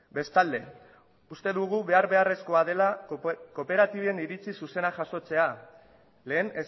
bestalde uste dugu behar beharrezkoa dela kooperatiben iritsi zuzena jasotzea lehen